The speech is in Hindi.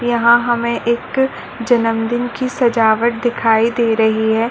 यहाँ हमे एक अ जन्मदिन की सजावट दिखाई दे रही है।